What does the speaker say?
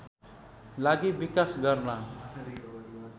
लागि विकास गर्न